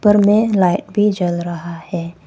ऊपर में लाइट भी जल रहा है।